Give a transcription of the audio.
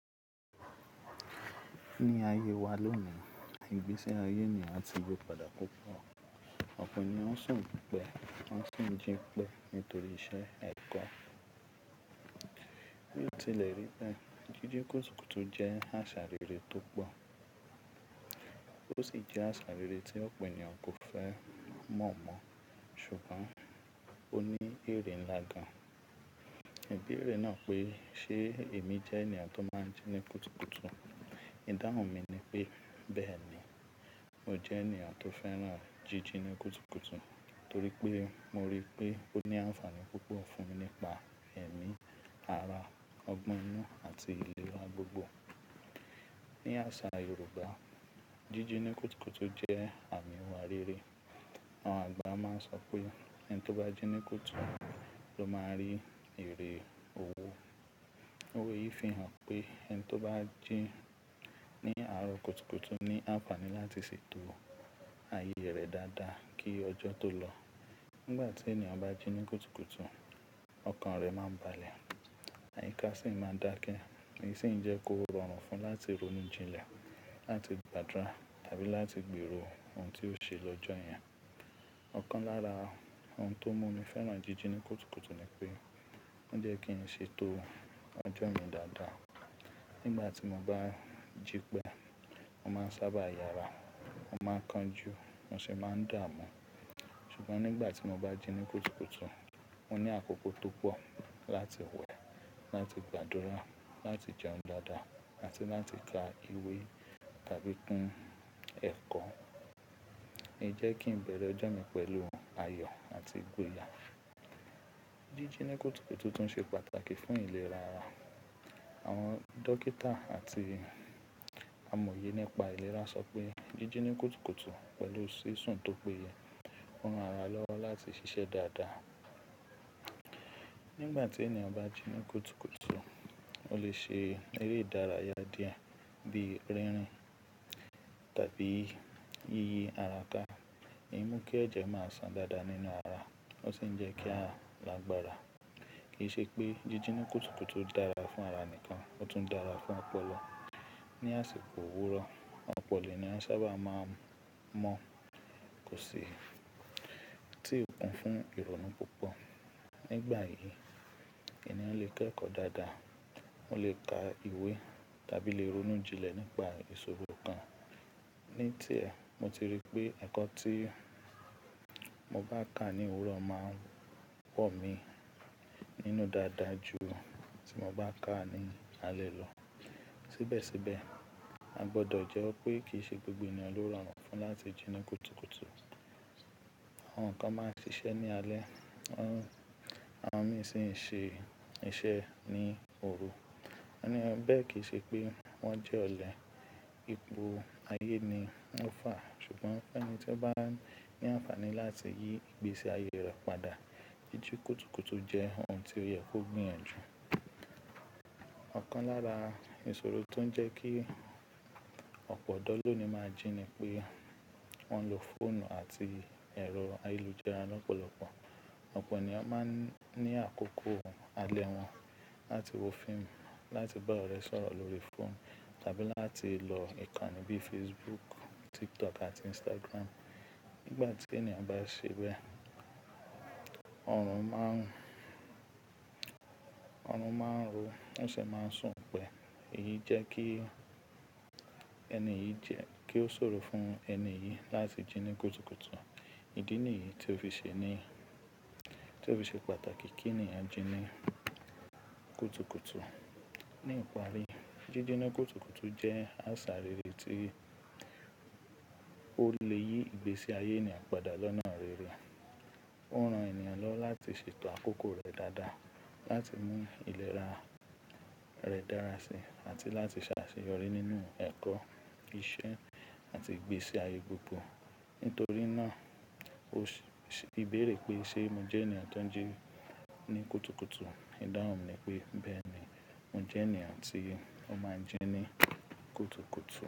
Ní ayé wa lónìí, ìgbésí ayé ènìyàn ti yí padà púpọ̀. Ọ̀pọ̀ ènìyàn ń sùn púpọ̀, ń sùn jíǹpẹ́ nítorí iṣẹ́ ẹ̀kọ́. Bí o tilẹ̀ rí bẹ́ẹ̀ jíjẹ kùtùkùtù jẹ́ àṣà rere tó pọ̀, ó sì jẹ́ àṣà rere tí ọ̀pọ̀ ènìyàn kò fẹ́ mọ̀ mọ́, ṣùgbọ́n ó ní èrè ńlá gan. Ìbéèrè náà pé, ṣe èmi jẹ́ ènìyàn tó máa ń jí ní kùtùkùtù? Ìdáhùn mi ni pé bẹ́ẹ̀ ni. Mo jẹ́ ènìyàn tó fẹ́ràn jíjí ní kùtùkùtù torí pé mo rí i pé ó ní àfààní púpọ̀ fún mi nípa ẹ̀mí, ara, ọgbọ́n inú àti ìlera gbogbo. Ní àṣa yorûbá jíjí ní kùtùkùtù jẹ́ àmì ìwà rere. Àwọn àgbà máa ń sọ pé ẹni tó bá jí ní kùtù ló máa rí ère òwò. Òwe yìí fi hàn pé ẹni tó bá jí ní àárọ̀ kùtùkùtù ní àǹfààní láti ṣètò ayé rẹ̀ dáadáa kí ọjọ́ tó lọ. Nígbà tí ènìyàn bá jí ní kùtùkùtù, ọkàn rẹ̀ máa ń balẹ̀, àyíká sì máa ń dákẹ́, èyí sì ń jẹ́ kó rọrùn fún un láti ronú jinlẹ̀, láti gbàdúrà tàbí láti gbèrò ohun tí ó ṣe lọ́jọ́ yẹn. Ọ̀kan lára ohun tó mú mi fẹ́ràn jíjẹ ní kùtùkùtù ni pé ó jẹ́ kí n ṣe ètò ọjọ́ mi dáadáa. Nígbà tí mo bá jípẹ́, mo máa ń sábà yára, mo máa ń kanjú, mo sì máa ń dààmú. Ṣùgbọ́n nígbà tí mo bá jí ní kùtùkùtù, mo ní àkókò tó pọ̀ láti wẹ̀, láti gbàdúrà, láti jẹun dáadáa àti láti ka ìwé tàbí kun ẹ̀kọ́. Ó ń jẹ́ kí n bẹ̀rẹ̀ ọjọ́ mi pẹ̀lú ayọ̀ àti ìgboyà. Jíjí ní kùtùkùtù tún ṣe pàtàkì fún ìlera ara. Àwọn dókítà àti amòye nípa ìlera sọ pé jíjí ní kùtùkùtù pẹ̀lú sísùn tó péye ń ran ara lọ́wọ́ láti ṣiṣẹ́ dáadáa. Nígbà tí ènìyàn bá jí ní kùtùkùtù, ó lè ṣe eré ìdárayá díẹ̀ bí rínrìn tàbí yíyí ara ká, èyí mú kí ẹ̀jẹ̀ máa san dáadáa nínú ara, ó sì ń jẹ́ kí a lágbára. Kì í ṣe pé jíjẹ ní kùtùkùtù dára fún ara nìkan, ó tún dára fún ọpọlọ. Ni àsìkò òwúrọ̀, ọ̀pọ̀ ènìyàn sábà máa ń mọ́ kò sì tíì kún fún ìrònú púpọ̀. Nígbà yìí, ènìyàn lè kẹ́kọ̀ọ́ dáadáa, òun lè ka ìwé tàbí lè ronú jinlẹ̀ nípa ìṣòro kan. Ní tiẹ̀, mo ti rí pé ẹ̀kọ́ tí mo bá kà ní òwúrọ̀ máa n pọ̀ mi nínú dáadáa ju tí mo bá kà á ní alẹ́ lọ. Síbẹ̀síbẹ̀ a gbọ́dọ̀ jẹ́wọ́ pé kìí ṣe gbogbo ènìyàn ló rọrùn fún láti jí ní kùtùkùtù. Àwon kan máa n ṣìṣe ní alẹ́ àwon mìí sì ń ṣe iṣẹ́ ní òru. Ó ní bẹ́ẹ̀ kì í ṣe pé wọ́n jẹ́ ọ̀lẹ, ipò ayé ni ó fà á. Ṣùgbọ́n ẹni tí ó bá ní àǹfààní láti yí ìgbésí ayé rẹ̀ padà, jíjí kùtùkùtù jẹ́ ohun tí ó yẹ kó gbìyànjú. Ọ̀kan lára ìṣòro tó ń jẹ́ kí ọ̀pọ̀ ọ̀dọ́ lónìí máa jí ni pé wọ́n ń lo fóònù àti ẹ̀rọ ayélujára lọ́pọ̀lọpọ̀. Ọ̀pọ̀ ènìyàn máa ń ní àkókò alẹ́ wọn láti wo fíìmù, láti bá ọ̀rẹ́ sọ̀rọ̀ lórí fóònù tàbí láti lọ ìkànnì bí i Facebook, TikTok àti Instagram. Nígbà tí ènìyàn bá ṣe bẹ́ẹ̀, ọ̀run má ń-- ọ̀run máa ń ro, ó sì máa ń sùn pẹ́. Èyí jẹ́ kí ẹni yìí jẹ́ kí ó ṣòro fún ẹni yìí láti jí ní kùtùkùtù. Ìdí nìyí tí ó fi ṣe ní-- tí ó fi ṣe pàtàkì kí ènìyàn jí ní kùtùkùtù. Ní ìparí, jíjẹ ní kùtùkùtù jẹ́ àṣà rere tí ó lè yí ìgbésí ayé ènìyàn padà lọ́nà rere. Ó ń ran ènìyàn lọ́wọ́ láti ṣètò àkókò rẹ̀ dáadáa, láti mú ìléra rẹ̀ dára síi àti láti ṣàṣeyọrí nínú ẹ̀kọ́, iṣẹ́ àti ìgbésí ayé gbogbo. Nítorí náà, ó sì béèrè pé ṣe mo jẹ́ ènìyàn tó ń jí ní kùtùkùtù? Ìdáhùn mi ni pé bẹ́ẹ̀ ni. Mo jẹ́ ènìyàn tí ó máa ń jí ní kùtùkùtù.